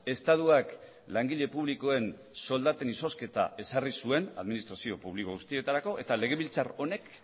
estatuak langile publikoen soldaten izozketa ezarri zuen administrazio publiko guztietarako eta legebiltzar honek